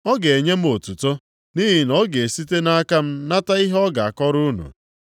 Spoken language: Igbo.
Ọ ga-enye m otuto, nʼihi na ọ ga-esite nʼaka m nata ihe ọ ga-akọrọ unu.